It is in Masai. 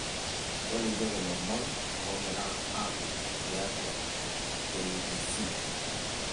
tolikioki ilomon oogira aapuku tiatu k.b.c